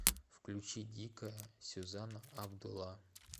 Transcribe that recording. включи дикая сюзанна абдулла